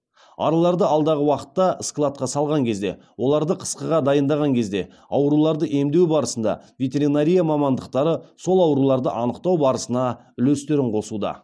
араларды алдағы уақытта складқа салған кезде оларды қысқыға дайындаған кезде ауруларды емдеу барысында ветеринария мамандықтары сол ауруларды анықтау барысына үлестерін қосуда